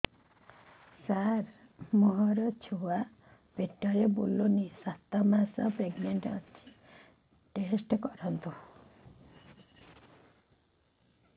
ସାର ମୋର ଛୁଆ ପେଟରେ ବୁଲୁନି ସାତ ମାସ ପ୍ରେଗନାଂଟ ଅଛି ଟେଷ୍ଟ କରନ୍ତୁ